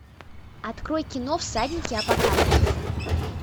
открой кино всадники апокалипсиса